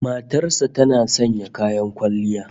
Matar sa tana sanya kayan kwalliya?